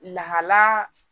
Lahala